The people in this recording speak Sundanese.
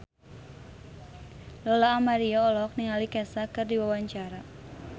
Lola Amaria olohok ningali Kesha keur diwawancara